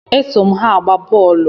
E so m ha agba boolu